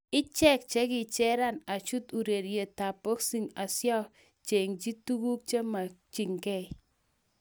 Ichek chekichera achut urerietab boxing asiacheng'ji tuguk chemakyinge